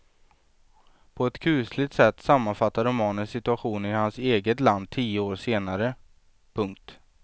På ett kusligt sätt sammanfattar romanen situationen i hans eget land tio år senare. punkt